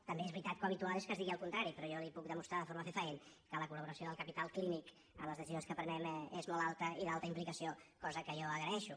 també és veritat que l’habitual és que es digui el contrari però jo li puc demostrar de forma fefaent que la col·laboració del capital clínic en les decisions que prenem és molt alta i d’alta implicació cosa que jo agraeixo